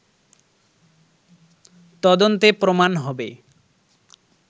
তদন্তে প্রমাণ হবে